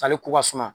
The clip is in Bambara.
Sale ko ka suma